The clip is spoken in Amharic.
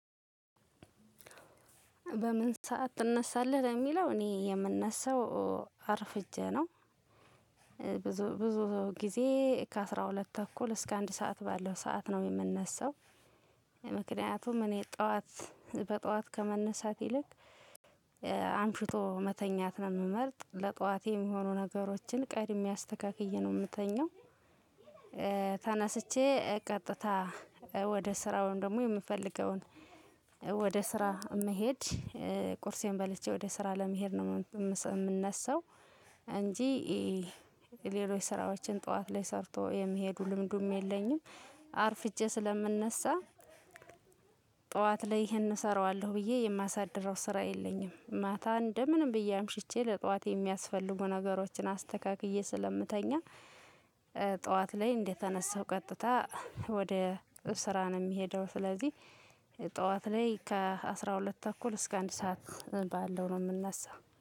በምን ሰዓት ትነሳለህ? ለሚለው እኔ የምነሳው አርፍጄ ነው። ብዙ ብዙ ጊዜ ከ አስራ ሁለት ተኩል እስከ አንድ ሰዓት ባለው ሰዓት ነው የምነሳው። ምክንያቱም እኔ ጠዋት በጠዋት ከመነሳት ይልቅ አምሽቶ መተኛት ነው የምመርጥ ለጠዋቴ የሚሆኑ ነገሮችን ቀድሜ አስተካክዬ ነው የምተኛው። ተነስቼ ቀጥታ ወደ ስራ ወይም ደግሞ የምፈልገውን ወደ ስራ መሄድ ቁርሴን በልቼ ወደ ስራ ለመሄድ ነው የምነሳው እንጂ። ሌሎች ስራዎችን ጠዋት ላይ ሰርቶ የሚሄዱ ልምዱም የለኝም አርፍጄ ስለምነሳ። ጠዋት ላይ ይሄን እሰራዋለሁ በዬ የማሳድረው ስራ የለኝም ማታ እንደምንም በዬ አምሽቼ ጠዋት የሚያስፈልጉ ነገሮችን አስተካክዬ ስለምተኛ። ጠዋት ላይ እንደተነሳው ቀጥታ ወደ ስራ ነው የሚሄደው ስለዚህ ጠዋት ላይ ከአስራ ሁለት ተኩል እስከ አንድ ሰዓት ባለው ነው የምንነሳ